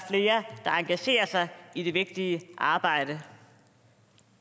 engagerer sig i det vigtige arbejde